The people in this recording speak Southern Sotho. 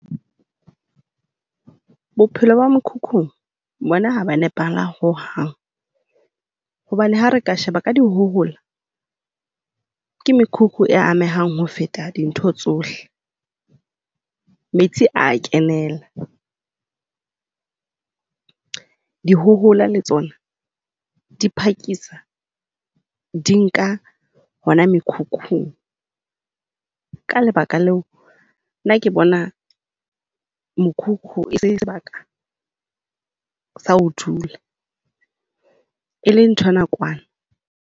Bophelo ba mokhukhung bona ha bo a nepahala ho hang, hobane ha re ka sheba ka dikgohola ke mekhukhu e amehang ho feta dintho tsohle. Metsi a kenela. Dihohola le tsona di phakisa di nka ona mekhukhu. Ka lebaka leo nna ke bona mokhukhu e se sebaka sa ho dula. E le ntho ya nakwana.